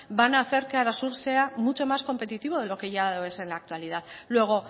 van a hacer que arasur sea mucho más competitivo de lo que ya lo es en la actualidad luego